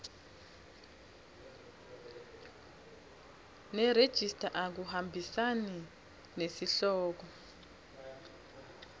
nerejista akuhambisani nesihloko